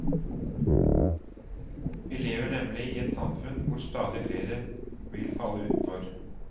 Vi lever nemlig i et samfunn hvor stadig flere vil falle utenfor.